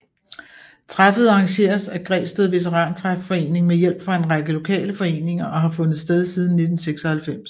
Træffet arrangeres af Græsted Veterantræfforening med hjælp fra en række lokale foreninger og har fundet sted siden 1996